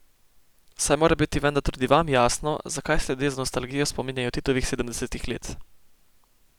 Saj mora biti vendar tudi vam jasno, zakaj se ljudje z nostalgijo spominjajo Titovih sedemdesetih let.